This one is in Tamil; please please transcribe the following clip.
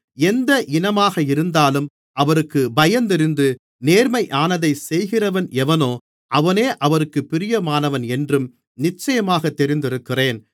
எந்த இனமாக இருந்தாலும் அவருக்குப் பயந்திருந்து நேர்மையானதைச் செய்கிறவன் எவனோ அவனே அவருக்குப் பிரியமானவன் என்றும் நிச்சயமாகத் தெரிந்திருக்கிறேன்